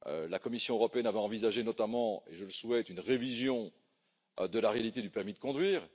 La Commission européenne avait envisagé, notamment, et je le souhaite, une révision de la réalité du permis de conduire